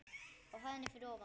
Á hæðinni fyrir ofan.